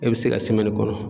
E be se ka semɛni kɔnɔ